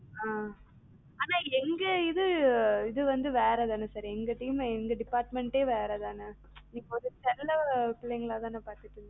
ஆஹ் ஆனா எங்க இது இதுவந்து வேற தான sir எங்க team ல எங்க department ஏ வேற தான. இப்ப அத செல்ல பிள்ளைங்களா தான பாத்தீங்க.